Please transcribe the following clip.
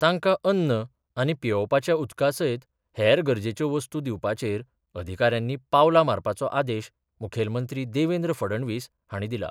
तांकां अन्न आनी पियेवपाच्या उदका सयत हेर गरजेच्यो वस्तू दिवपाचेर अधिकाऱ्यांनी पावलां मारपाचो आदेश मुखेलमंत्री देवेंद्र फडणवीस हांणी दिला.